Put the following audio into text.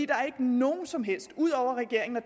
er ikke nogen som helst udover regeringen og